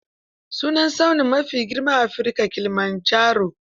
Sunan tsauni maa fi girma a Afirika Kilimanjaro.